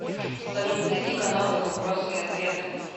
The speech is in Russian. салют найди каналы вопросы и ответы